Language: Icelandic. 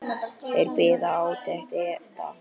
Þeir biðu átekta.